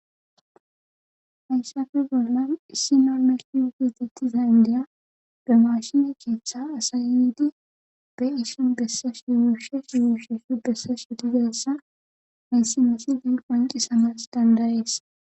Hayssafe bollan issi normeki wugidzettiza indeya be mashine keeththe asayydi be issu bessash ywuushesh ywuusheshu bessash wutigessa hayssimeosi den qwanci samas dandayees.